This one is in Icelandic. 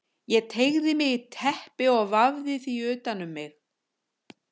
Ég teygði mig í teppi og vafði því utan um mig.